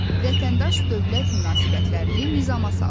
Vətəndaş dövlət münasibətlərini nizama salır.